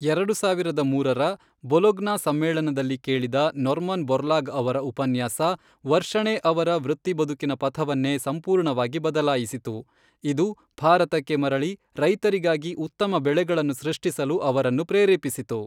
ಎರಡು ಸಾವಿರದ ಮೂರರ, ಬೊಲೊಗ್ನಾ ಸಮ್ಮೇಳನದಲ್ಲಿ ಕೇಳಿದ ನೊರ್ಮನ್ ಬೋರ್ಲಾಗ್ ಅವರ ಉಪನ್ಯಾಸ ವರ್ಷಣೇ ಅವರ ವೃತ್ತಿಬದುಕಿನ ಪಥವನ್ನೇ ಸಂಪೂರ್ಣವಾಗಿ ಬದಲಾಯಿಸಿತು, ಇದು, ಭಾರತಕ್ಕೆ ಮರಳಿ ರೈತರಿಗಾಗಿ ಉತ್ತಮ ಬೆಳೆಗಳನ್ನು ಸೃಷ್ಟಿಸಲು ಅವರನ್ನು ಪ್ರೇರೇಪಿಸಿತು,